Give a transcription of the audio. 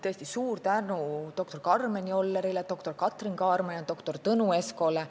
Tõesti suur tänu doktor Karmen Jollerile, doktor Katrin Kaarmale ja doktor Tõnu Eskole!